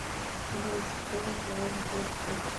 джой что за сберкот